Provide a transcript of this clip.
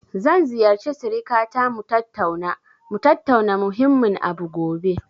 Zan ziyarci sirikata mu tattauna, mu tattauna muhimmin abu gobe.